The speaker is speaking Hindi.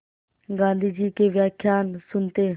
गाँधी जी के व्याख्यान सुनते